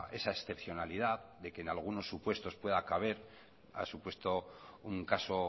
esa excepcionalidad de que en algunos supuestos pueda caber ha supuesto un caso